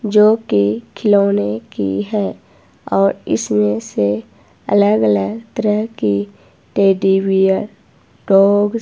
जो की खिलौने की है और इसमें से अलग अलग तरह की टेडी बियर डॉग --